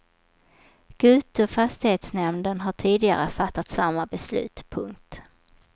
Gutu och fastighetsnämnden har tidigare fattat samma beslut. punkt